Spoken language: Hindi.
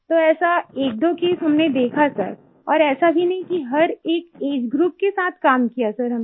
तो ऐसा 12 केस हमनें देखा सर और ऐसा भी नहीं कि हर एक एजीई ग्रुप के साथ काम किया सर हमने